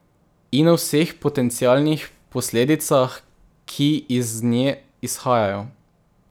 In o vseh potencialnih posledicah, ki iz nje izhajajo.